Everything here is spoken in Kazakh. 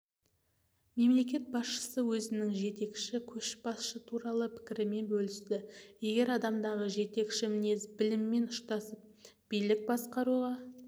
мемлекет басшысы өзінің жетекші көшбасшы туралы пікірімен бөлісті егер адамдағы жетекші мінез біліммен ұштасып билік басқаруға